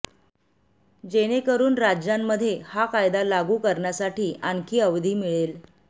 जेणेकरून राज्यांमध्ये हा कायदा लागू करण्यासाठी आणखी अवधी मिळेल